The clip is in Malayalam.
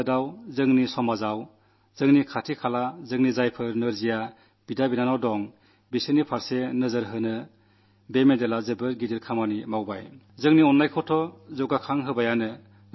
അതിലൂടെ നമ്മുടെ നാട്ടിൽ നമ്മുടെ സമൂഹത്തിൽ നമ്മുടെ അയൽപക്കങ്ങളിൽ കഴിയുന്ന ദിവ്യാംഗരായ സഹോദരീ സഹോദരന്മാരുടെ നേരെ നോക്കുവാൻ നമുക്കു പ്രേരണയുണ്ടാക്കിയിരിക്കുന്നു എന്നതും പ്രധാനമാണ്